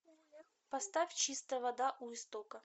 поставь чистая вода у истока